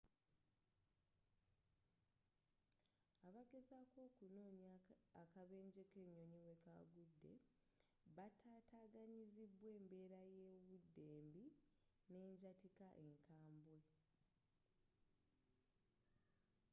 abageezako okunoonya akabenje kenyonyi wekagude batataganyizibwa embeera yobudde embi n'enjatika enkabwe